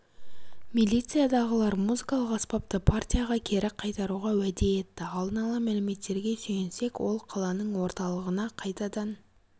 милициядағылар музыкалық аспапты партияға кері қайтаруға уәде етті алдын ала мәліметтерге сүйенсек ол қаланың орталығына қайтадан